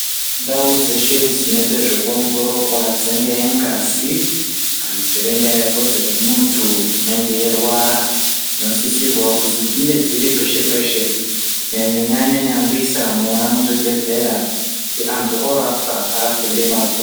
Ndau dzeshe dzinoite zvekuongororwa dzinge ngazi kana kuti ringaa vhudzi remuntu unenge eirwara dzinosisirwawo kusi dzinge dziri peshe peshe kunyanya nyanya nyambisa mwona muzvibhedhlera kuti antu orapwa arapwe ngemazvo.